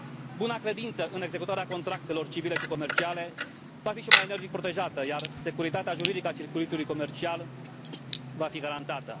Buna credință în executarea contractelor civile și comerciale va fi și mai energic protejată, iar securitatea juridică a circuitului comercial va fi garantată.